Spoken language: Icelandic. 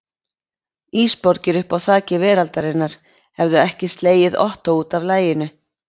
Ísborgir uppi á þaki veraldarinnar hefðu ekki slegið Ottó útaf laginu.